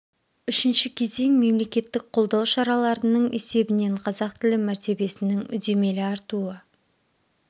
үшінші кезең мемлекеттік қолдау шараларының есебінен қазақ тілі мәртебесінің үдемелі артуы